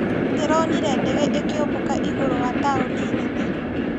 Ndironire ndege ĩkĩũmbũka igũrũ wa taũni nene.